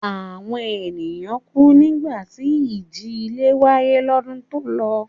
Àwọn ènìyàn kù nígbà tí ìjì-ilẹ̀ wáyé lọ́dún tó lọ.